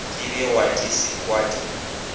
di begwa di sekwa di